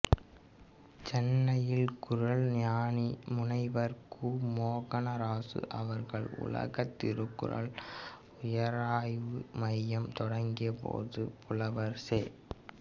சென்னையில் குறள்ஞானி முனைவர் கு மோகனராசு அவர்கள் உலகத் திருக்குறள் உயராய்வு மையம் தொடங்கிய போது புலவர் செ